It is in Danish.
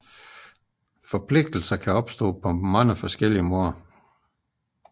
Forpligtelser kan opstå på forskellig vis